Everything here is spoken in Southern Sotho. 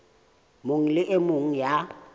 mong le e mong ya